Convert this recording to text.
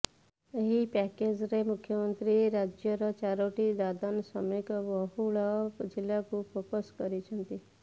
ଏହି ପ୍ୟାକେଜରେ ମୁଖ୍ୟମନ୍ତ୍ରୀ ରାଜ୍ୟର ଚାରୋଟି ଦାଦନ ଶ୍ରମିକ ବହୁଳ ଜିଲ୍ଲାକୁ ଫୋକସ୍ କରିଛନ୍ତି